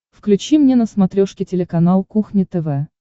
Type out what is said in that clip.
включи мне на смотрешке телеканал кухня тв